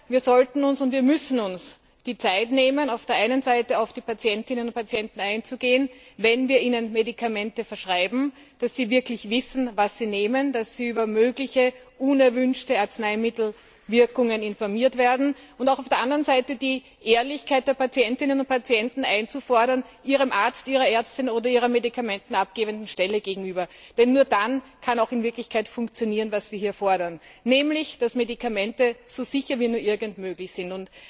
Wir sollten und müssen uns die Zeit nehmen, auf der einen Seite auf die Patientinnen und Patienten einzugehen, wenn wir ihnen Medikamente verschreiben, damit sie wirklich wissen, was sie nehmen, dass sie über mögliche unerwünschte Arzneimittelwirkungen informiert werden, und auf der anderen Seite auch die Ehrlichkeit der Patientinnen und Patienten ihrem Arzt, ihrer Ärztin oder ihrer Medikamente abgebenden Stelle gegenüber einzufordern. Denn nur dann kann in Wirklichkeit funktionieren, was wir hier fordern, nämlich dass Medikamente so sicher wie nur irgend möglich sind.